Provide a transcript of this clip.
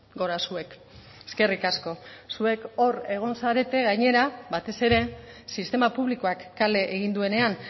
gora zuek eskerrik asko zuek hor egon zarete gainera batez ere sistema publikoak kale egin duenean